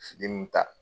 Fitiri nun ta